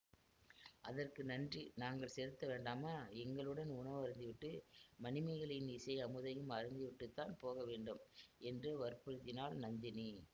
அதற்கு நன்றி நாங்கள் செலுத்த வேண்டாமா எங்களுடன் உணவருந்திவிட்டு மணிமேகலையின் இசை அமுதையும் அருந்திவிட்டுத்தான் போக வேண்டும் என்று வற்புறுத்தினாள் நந்தினி